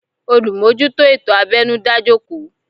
Olumojuto ètò abẹnu dá jòkó